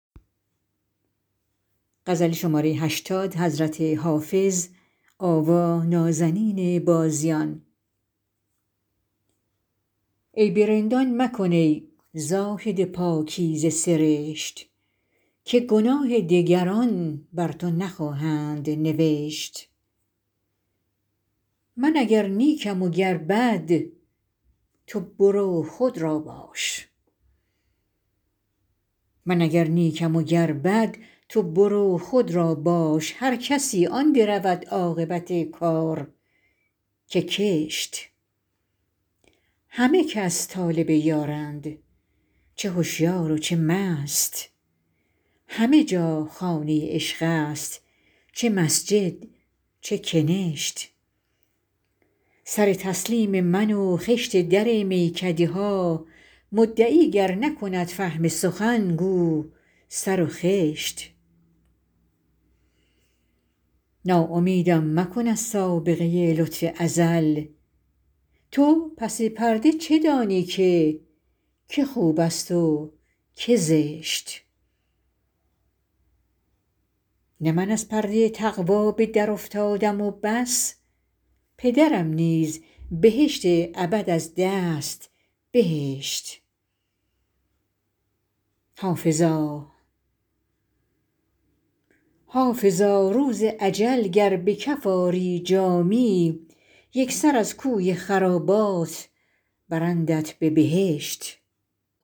عیب رندان مکن ای زاهد پاکیزه سرشت که گناه دگران بر تو نخواهند نوشت من اگر نیکم و گر بد تو برو خود را باش هر کسی آن درود عاقبت کار که کشت همه کس طالب یارند چه هشیار و چه مست همه جا خانه عشق است چه مسجد چه کنشت سر تسلیم من و خشت در میکده ها مدعی گر نکند فهم سخن گو سر و خشت ناامیدم مکن از سابقه لطف ازل تو پس پرده چه دانی که که خوب است و که زشت نه من از پرده تقوا به درافتادم و بس پدرم نیز بهشت ابد از دست بهشت حافظا روز اجل گر به کف آری جامی یک سر از کوی خرابات برندت به بهشت